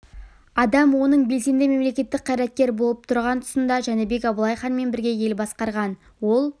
адам оның белсенді мемлекеттік қайраткер болып тұрған тұсында жәнібек абылай ханмен бірге ел басқарған ол